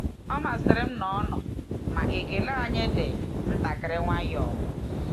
Ọ masịrị m na ọ nọ, ma ekele anyị dị ntakịrị nwayọọ.